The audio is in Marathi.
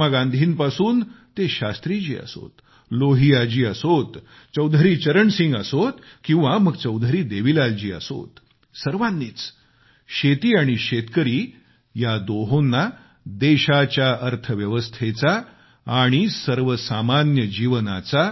महात्मा गांधींपासून ते शास्त्रीजी असोत लोहियाजी असोत चौधरी चरणसिंगजी असोत किंवा मग चौधरी देवीलालजी असोत सर्वानीच शेती आणि शेतकरी या दोहोंना देशाच्या अर्थव्यवस्थेचा आणि सर्वसामान्य जीवनाचा